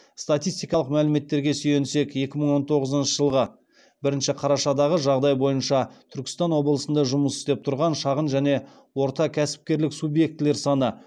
статистикалық мәліметтерге сүйенсек екі мың он тоғызыншы жылғы бірінші қарашадағы жағдай бойынша түркістан облысында жұмыс істеп тұрған шағын және орта кәсіпкерлік субъектілер саны